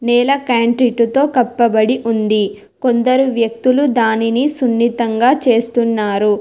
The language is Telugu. నేల క్యాంటీటుతో కప్పబడి ఉంది కొందరు వ్యక్తులు దానిని సున్నితంగా చేస్తున్నారు.